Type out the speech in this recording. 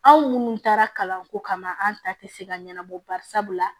Anw minnu taara kalanko kama an ta te se ka ɲɛnabɔ barisabu la